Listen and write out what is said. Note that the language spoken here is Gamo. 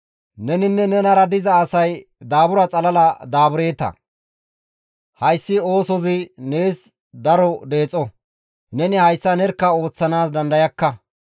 Neninne nenara diza asay daabura xalala daabureeta; hayssi oosozi nees daro deexo; neni hayssa nerkka ooththanaas dandayakka.